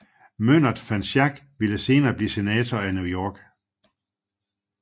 Myndert van Schaick ville senere blive senator af New York